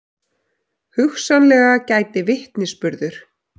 Hugsanlega gæti vitnisburður